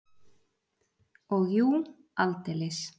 Og jú, aldeilis!